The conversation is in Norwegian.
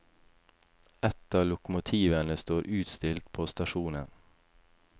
Et av lokomotivene står utstilt på stasjonen.